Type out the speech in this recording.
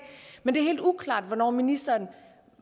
men det er helt uklart hvornår ministeren